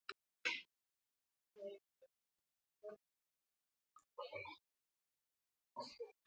Já, hún er að versna, hún Gerður tautaði Lúlli og horfði niður í peningaskúffuna.